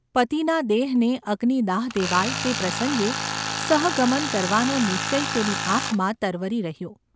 પતિના દેહને અગ્નિ દાહ દેવાય તે પ્રસંગે સહગમન કરવાનો નિશ્ચય તેની આંખમાં તરવરી રહ્યો.